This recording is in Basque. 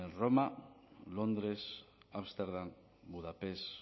roma londres ámsterdam budapest